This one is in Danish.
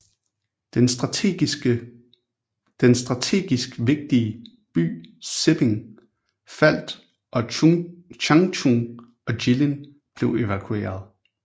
Den strategisk vigtige by Siping faldt og Changchun og Jilin blev evakuerede